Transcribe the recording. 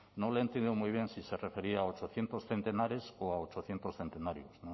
no le he entendido muy bien si se refería a ochocientos centenares o a ochocientos centenarios